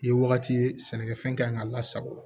Ye wagati ye sɛnɛkɛfɛn kan ka lasago